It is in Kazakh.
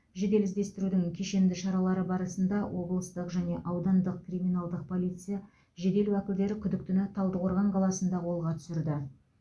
жедел іздестірудің кешенді шаралары барысында облыстық және аудандық криминалдық полиция жедел уәкілдері күдіктіні талдықорған қаласында қолға түсірді